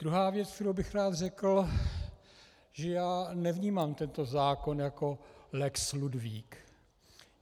Druhá věc, kterou bych rád řekl, že já nevnímám tento zákon jako lex Ludvík.